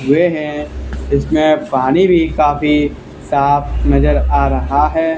हुए हैं इसमें पानी भी काफी साफ नजर आ रहा है।